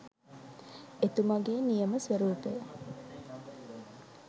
එතුමගෙ නියම ස්වරූපය.